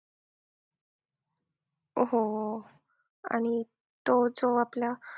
हो. आणि तो जो आपला